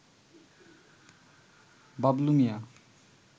Bablu Mia